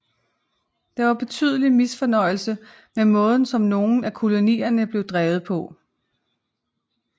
Der var betydelig misfornøjelse med måden som nogen af kolonierne blev drevet på